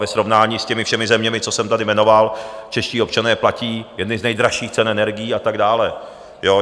Ve srovnání s těmi všemi zeměmi, co jsem tady jmenoval, čeští občané platí jedny z nejdražších cen energií a tak dále.